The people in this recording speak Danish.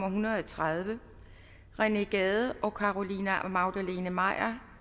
en hundrede og tredive rené gade og carolina magdalene maier